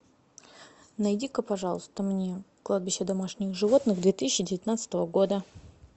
найди ка пожалуйста мне кладбище домашних животных две тысячи девятнадцатого года